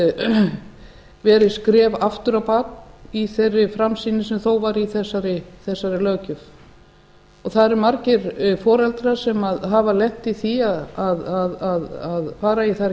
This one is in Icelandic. öll hafa verið skref aftur á bak í þeirri framsýni sem var þó í þessari löggjöf það eru margir foreldrar sem hafa lent í því að fara í þær